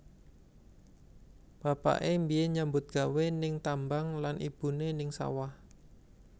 Bapaké mbiyen nyambut gawé ning tambang lan ibuné ning sawah